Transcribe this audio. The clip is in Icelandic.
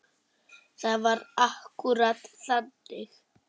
Það var akkúrat þannig.